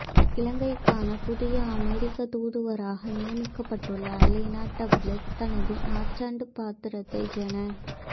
இலங்கைக்கான புதிய அமெரிக்க தூதுவராக நியமிக்கப்பட்டுள்ள அலைனா டெப்லிட்ஸ் தனது நற்சான்று பத்திரத்தை ஜன